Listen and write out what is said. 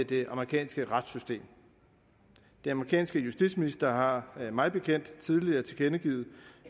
det amerikanske retssystem den amerikanske justitsminister har mig bekendt tidligere tilkendegivet